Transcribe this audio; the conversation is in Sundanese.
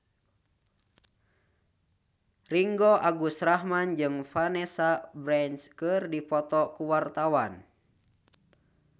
Ringgo Agus Rahman jeung Vanessa Branch keur dipoto ku wartawan